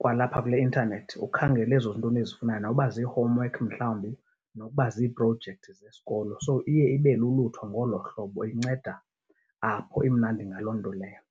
kwalapha kule intanethi, ukhangele ezo nto nizifunayo noba zii-homework mhlawumbi, nokuba ziiprojekthi zesikolo. So iye ibe lulutho ngolo hlobo, inceda apho. Imnandi ngaloo nto leyo.